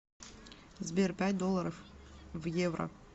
сбер пять долларов в евро